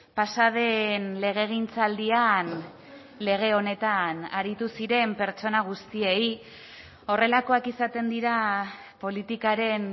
pasa den legegintzaldian lege honetan aritu ziren pertsona guztiei horrelakoak izaten dira politikaren